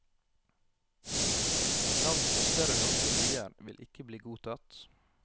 Navn på større norske byer vil ikke bli godtatt.